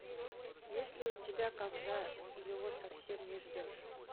есть ли у тебя когда его совсем не ждешь